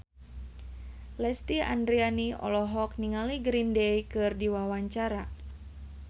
Lesti Andryani olohok ningali Green Day keur diwawancara